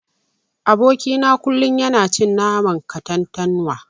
Aboki na kullun yana cin naman katantanwa.